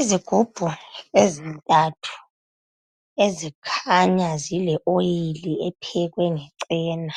Izigubhu ezintathu ezikhanya zile oil ephekwe nge chena.